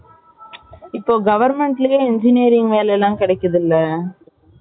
இப்போ government லயே engineering வேலை லாம் கிடைக்கிதுல